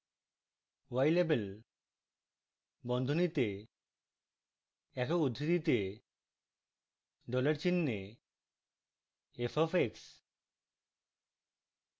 ylabel বন্ধনীতে একক উদ্ধৃতিতে dollar চিহ্নে f x